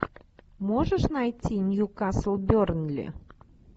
можешь найти ньюкасл бернли